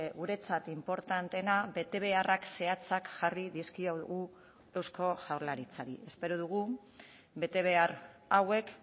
guretzat inportanteena betebeharrak zehatzak jarri dizkiogu eusko jaurlaritzari espero dugu betebehar hauek